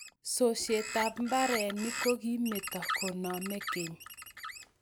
sosyetab mbarenik ko kimito koname keny.